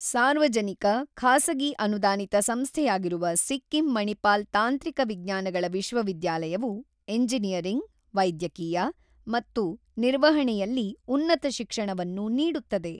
ಸಾರ್ವಜನಿಕ-ಖಾಸಗಿ ಅನುದಾನಿತ ಸಂಸ್ಥೆಯಾಗಿರುವ ಸಿಕ್ಕಿಂ ಮಣಿಪಾಲ್ ತಾಂತ್ರಿಕ ವಿಜ್ಞಾನಗಳ ವಿಶ್ವವಿದ್ಯಾಲಯವು ಎಂಜಿನಿಯರಿಂಗ್, ವೈದ್ಯಕೀಯ, ಮತ್ತು ನಿರ್ವಹಣೆಯಲ್ಲಿ ಉನ್ನತ ಶಿಕ್ಷಣವನ್ನು ನೀಡುತ್ತದೆ.